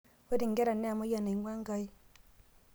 ore inkera naa emayian naing'ua Enkai